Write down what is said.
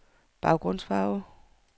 baggrundsfarve